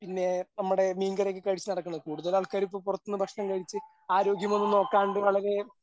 പിന്നെ നമ്മുടെ മീൻകറി ഒക്കെ കഴിച്ചു നടക്കുന്നത്. കൂടുതൽ ആൾക്കാരും ഇപ്പോ പുറത്തുനിന്ന് ഭക്ഷണം കഴിച്ച് ആരോഗ്യമൊന്നും നോക്കണ്ട് വളരെ